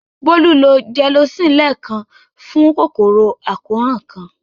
Bólú lo Gelocin lẹ́ẹ̀kan fún kòkòrò àkóràn kan.